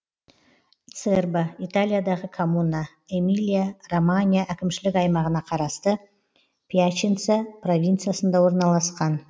церба италиядағы коммуна эмилия романья әкімшілік аймағына қарасты пьяченца провинциясында орналасқан